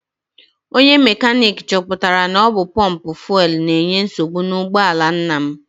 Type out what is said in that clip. Onye mekaniki chọpụtara na ọ bụ pọmpụ fuelu na-enye nsogbu n'ụgbọala nna m.